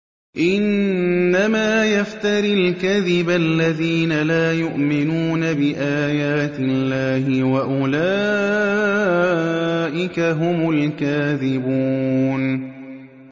إِنَّمَا يَفْتَرِي الْكَذِبَ الَّذِينَ لَا يُؤْمِنُونَ بِآيَاتِ اللَّهِ ۖ وَأُولَٰئِكَ هُمُ الْكَاذِبُونَ